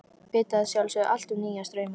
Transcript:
Vita að sjálfsögðu allt um nýja strauma.